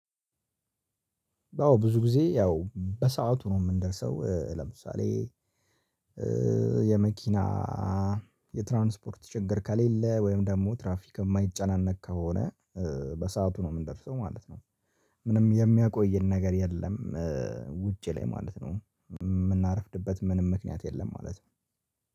አዎ ብዙ ጊዜ ያው በሰአቱ ነው የምንደርሰው ለምሳሌ የመኪና የትራንስፖርት ችግር ከሌለ ወይም ደግሞ ትራፊክ የማይጨናነቅ ከሆነ በሰአቱ ነው የምንደርሰው ማለት ነው። ምንም የሚያቆየን ነገር የለም። ውጭ ላይ ማለት ነው። የምናረፍድበት ምንም ምክንያት የለም ማለት ነው።